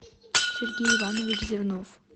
сергей иванович зернов